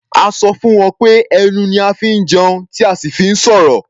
A sọ fún wọn pé ẹnu ni a fi ń jẹun tí a sì fi ń sọ̀rọ̀.